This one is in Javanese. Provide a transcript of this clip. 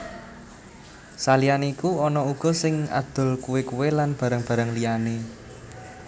Saliyané iku ana uga sing adol kuwé kuwé lan barang barang liyané